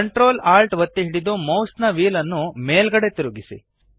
ctrl alt ಒತ್ತಿ ಹಿಡಿದು ಮೌಸ್ನ ವ್ಹೀಲ್ ನ್ನು ಮೇಲ್ಗಡೆಗೆ ತಿರುಗಿಸಿ